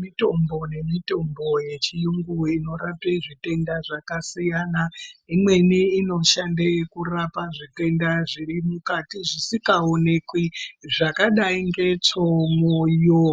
Mitombo nemitombo yechiyungu inorape zvitenda zvakasiyana. Imweni inoshande kurapa zvitenda zviri mukati zvisikaonekwi zvakadai nge tsvoo, mwoyo